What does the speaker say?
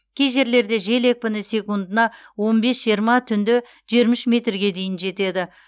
кей жерлерде жел екпіні секундына он бес жиырма түнде жиырма үш метрге дейін жетеді